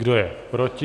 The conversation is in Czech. Kdo je proti?